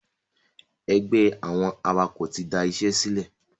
Ẹgbẹ́ àwọn awakọ̀ tí da ìṣẹ́ sílẹ̀